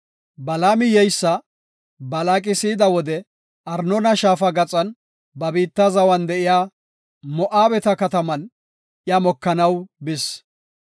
Balaami yeysa Balaaqi si7ida wode Arnoona shaafa gaxan ba biitta zawan de7iya Moo7abeta kataman iya mokanaw bis.